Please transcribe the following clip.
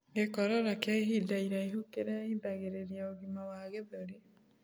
Gikorora kia ihinda iraihu kirehithagirirĩa ũgima wa gĩthũri